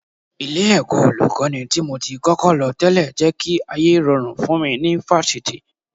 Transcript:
Ilé-ẹ̀kọ́ Olùkọ́ní tí mo ti kọ́kọ́ lọ tẹ́lẹ̀ jẹ́ kí ayé rọrùn fún mi ní Fáṣítì